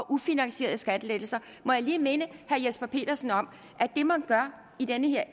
ufinansierede skattelettelser må jeg lige minde herre jesper petersen om at det man gør i det her